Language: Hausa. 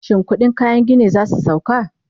shin ƙuɗin kayan gini zasu sauko?